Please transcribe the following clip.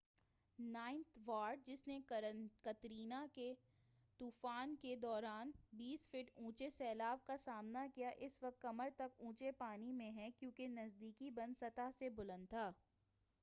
ninth ward جس نے Katrina کے طوفان کے دوران 20 فٹ اونچے سیلاب کا سامنا کیا اس وقت کمر تک اونچے پانی میں ہے کیونکہ نزدیکی بند سطح سے بلند تھا